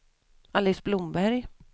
Alice Blomberg